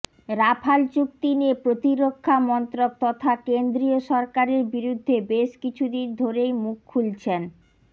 Rafale চুক্তি নিয়ে প্রতিরক্ষা মন্ত্রক তথা কেন্দ্রীয় সরকারের বিরুদ্ধে বেশ কিছু দিন ধরেই মুখ খুলছেন